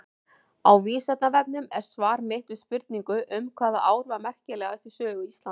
Á Vísindavefnum er svar mitt við spurningu um hvaða ár var merkilegast í sögu Íslands.